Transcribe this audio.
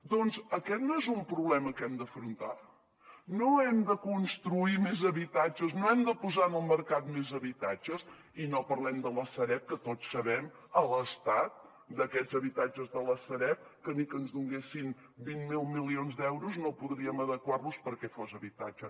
doncs aquest no és un problema que hem d’afrontar no hem de construir més habitatges no hem de posar en el mercat més habitatges i no parlem de la sareb que tots sabem l’estat d’aquests habitatges de la sareb que ni que ens donessin vint miler milions d’euros no podríem adequar los perquè fossin habitatge